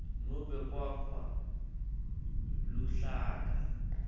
nobe kwakha luhlaka